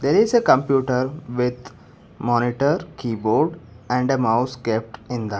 there is a computer with monitor keyboard and a mouse kept in the --